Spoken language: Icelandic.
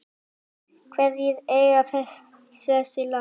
Hverjir eiga þessi lán?